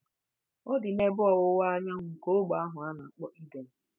Ọ dị n’ebe ọwụwa anyanwụ nke ógbè ahụ a na-akpọ Iden.